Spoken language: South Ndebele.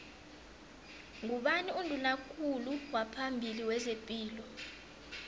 ngubani unduna kulu waphambili wezepilo